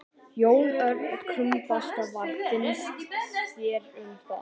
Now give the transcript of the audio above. Jón Örn Guðbjartsson: Hvað finnst þér um það?